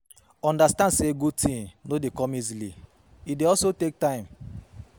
Understand say good things no de come easily e de also take time